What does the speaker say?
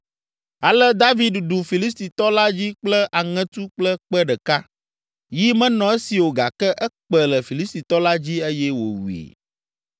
Ale David ɖu Filistitɔ la dzi kple aŋetu kple kpe ɖeka, yi menɔ esi o gake ekpe le Filistitɔ la dzi eye wòwui.